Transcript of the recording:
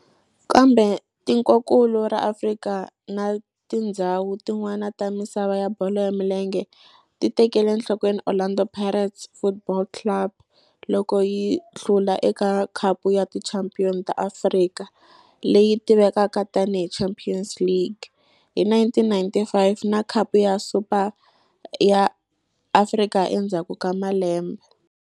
Kambe tikonkulu ra Afrika na tindzhawu tin'wana ta misava ya bolo ya milenge ti tekele enhlokweni Orlando Pirates Football Club loko yi hlula eka Khapu ya Tichampion ta Afrika, leyi tivekaka tani hi Champions League, hi 1995 na Khapu ya Super ya Afrika endzhaku ka malembe.